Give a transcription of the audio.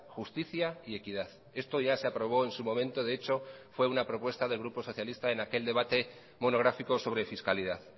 justicia y equidad esto ya se aprobó en su momento de hecho fue una propuesta del grupo socialista en aquel debate monográfico sobre fiscalidad